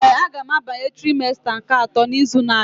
Ee, a ga m abanye trimesta nke atọ n'izu na-abịa.